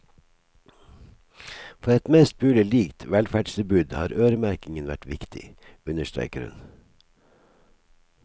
For et mest mulig likt velferdstilbud har øremerkingen vært viktig, understreker hun.